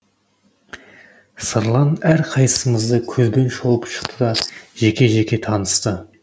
сырлан әрқайсымызды көзбен шолып шықты да жеке жеке танысты